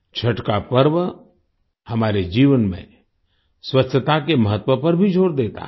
छठ का पर्व हमारे जीवन में स्वच्छता के महत्व पर भी जोर देता है